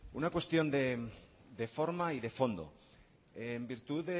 una cuestión de forma y de fondo en virtud de